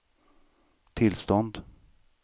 tillstånd